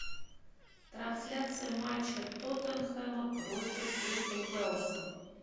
трансляция матча тоттенхэма против кристал пэласа